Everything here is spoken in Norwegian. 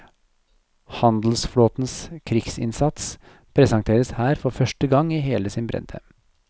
Handelsflåtens krigsinnsats presenteres her for første gang i hele sin bredde.